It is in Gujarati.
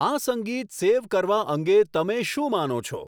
આ સંગીત સેવ કરવા અંગે તમે શું માનો છો